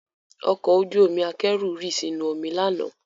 Ọkọ ojú omi akẹ́rù rì sínú omi lánàá